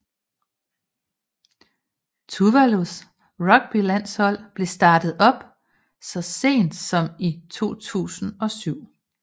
Tuvalus rugbylandshold blev startet op så sent som i 2007